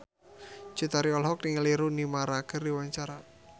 Cut Tari olohok ningali Rooney Mara keur diwawancara